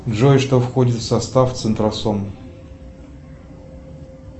джой что входит в состав центросом